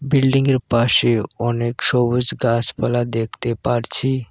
বিল্ডিংয়ের পাশে অনেক সবুজ গাছপালা দেখতে পারছি।